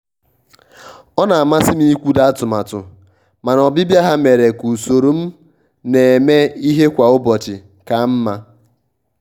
ọ na-amasị m ịkwudo n'atụmatụ mana ọbịbịa ha mere ka usoro m na-eme ihe kwa ụbọchị kaa mma.